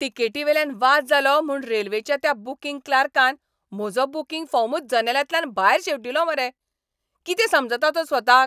तिकेटीवेल्यान वाद जालो म्हूण रेल्वेच्या त्या बूकिंग क्लार्कान म्हजो बूकिंग फॉर्मूच जनेलांतल्यान भायर शेवटिलो मरे. कितें समजता तो स्वताक?